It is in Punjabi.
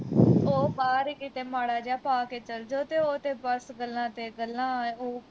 ਉਹ ਬਾਹਰ ਕਿਤੇ ਮਾੜਾ ਜਾ ਪਾ ਕੇ ਚੱਲ ਜੂ ਤੇ ਉਹ ਤੇ ਬਸ ਗੱਲਾਂ ਤੇ ਗੱਲਾਂ ਉਹ